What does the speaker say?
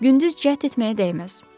Gündüz cəhd etməyə dəyməz.